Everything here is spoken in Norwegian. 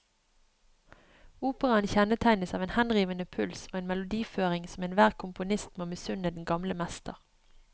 Operaen kjennetegnes av en henrivende puls og en melodiføring som enhver komponist må misunne den gamle mester.